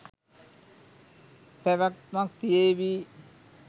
පැවැත්මක් තියේවි.